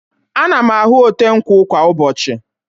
Ana m ahụ ote nkwụ kwa ụbọchị.